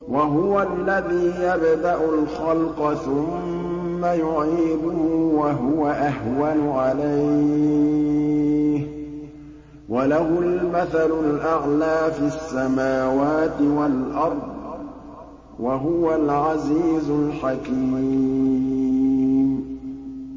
وَهُوَ الَّذِي يَبْدَأُ الْخَلْقَ ثُمَّ يُعِيدُهُ وَهُوَ أَهْوَنُ عَلَيْهِ ۚ وَلَهُ الْمَثَلُ الْأَعْلَىٰ فِي السَّمَاوَاتِ وَالْأَرْضِ ۚ وَهُوَ الْعَزِيزُ الْحَكِيمُ